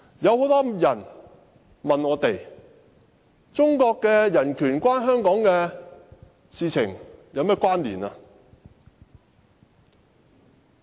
很多人問我，中國人權與香港有何關係？